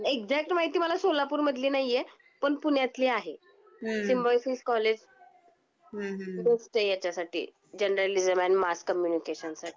Exact माहिती मला सोलापूर मधल नाही आहे पण पुण्यातली आहे हम्म सिम्बायोसिस कॉलेज बेस्ट आहे ह्याच्या साठी. जर्नलिसम अँड मास कम्युनिकेशन साठी